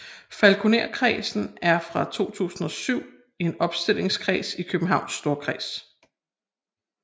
Falkonerkredsen er fra 2007 en opstillingskreds i Københavns Storkreds